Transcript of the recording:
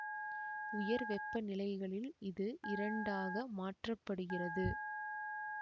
உயர் வெப்பநிலைகளில் இது இரண்டாக மாற்ற படுகிறது